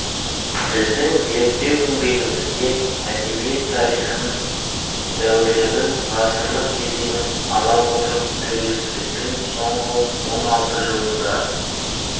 біздің зерттеу еңбегімізде әдебиет тарихын дәуірлеудің ғасырлық кезеңін ала отырып тәуелсіздіктің соңғы он алты жылында